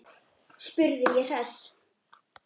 spurði ég hress.